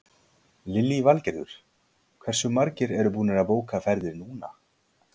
Lillý Valgerður: Hversu margir eru búnir að bóka ferðir núna?